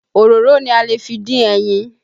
Òróró ni a lè fi dín ẹyin